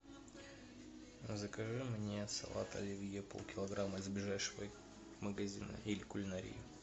закажи мне салат оливье полкилограмма из ближайшего магазина или кулинарии